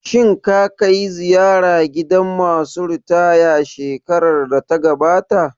Shin ka kai ziyara gidan ma su ritaya shekarar da ta gabata?